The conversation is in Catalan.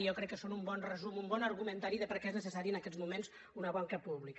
jo crec que són un bon resum un bon argumentari de per què és necessària en aquests moments una banca pública